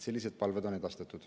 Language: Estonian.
Sellised palved on edastatud.